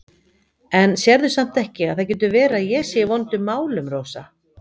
En sérðu samt ekki að það getur verið að ég sé í vondum málum, Rósa?